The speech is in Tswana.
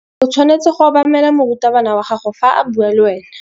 O tshwanetse go obamela morutabana wa gago fa a bua le wena.